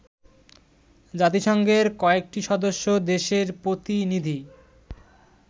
জাতিসংঘের কয়েকটি সদস্য দেশের প্রতিনিধি